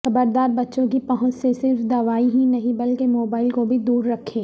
خبرداربچوں کی پہنچ سے صرف دوائیں ہی نہیں بلکہ موبائل کوبھی دوررکھیں